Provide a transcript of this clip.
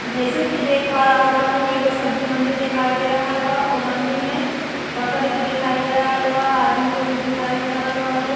जइसन कि देख पा रहल बानी एगो सब्जी मंडी देखाई दे रहल बा। ओ मंडी में बकेट भी देखाई दे रहल बा। आदमी लो भी दिखाई दे रहा बा लो।